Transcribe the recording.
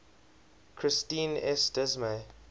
christine s dismay